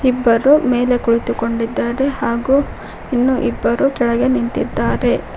ಇಬ್ಬರು ಮೇಲೆ ಕುಳಿತುಕೊಂಡಿದ್ದಾರೆ ಹಾಗು ಇನ್ನು ಇಬ್ಬರು ಕೆಳಗೆ ನಿಂತಿದ್ದಾರೆ.